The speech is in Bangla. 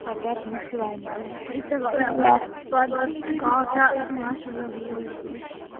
হটাৎ বুঝতে পারিনি বলো এইতো কবে আমাদের কদ্দিন কটা মাস হলো বিয়ে হয়েছে